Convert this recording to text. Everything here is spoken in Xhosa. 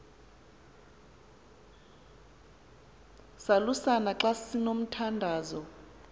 salusana xa sinomthandazo